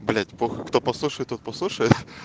кто послушает вот послушай